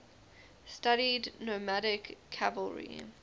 studied nomadic cavalry